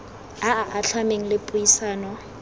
a a atlhameng le puisano